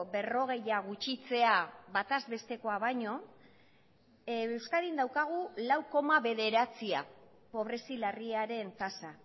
berrogeia gutxitzea bataz bestekoa baino euskadin daukagu lau koma bederatzia pobrezi larriaren tasa